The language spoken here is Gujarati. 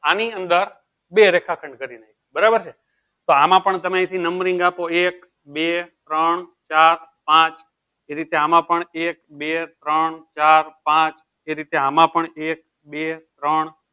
આની અંદર બે રેખા ખંડ કર્યું બરાબર છે તો આમાં પણ તમે અયી થી numbering આપો એક બે ત્રણ ચાર પાંચ ફરી થી આમાં પણ એક બે ત્રણ ચાર પાંચ એ રીતે આમાં પણ એક બે ત્રણ